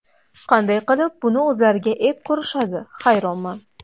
Qanday qilib buni o‘zlariga ep ko‘rishadi, hayronman.